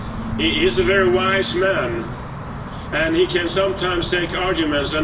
He is a very wise man, and he can sometimes take arguments.